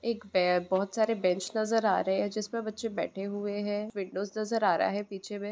एक पै बहुत सारे बेंच नजर आ रहे हैजिसमें बच्चे बैठे हुए है विंडोज नजर आ रहा है पीछे में--